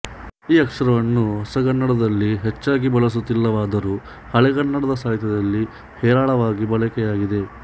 ಈ ಅಕ್ಷರವನ್ನು ಹೊಸಗನ್ನಡದಲ್ಲಿ ಹೆಚ್ಚಾಗಿಬಳಸುತ್ತಿಲ್ಲವಾದರೂ ಹಳೆಗನ್ನಡ ಸಾಹಿತ್ಯದಲ್ಲಿ ಹೇರಳವಾಗಿ ಬಳಕೆಯಾಗಿದೆ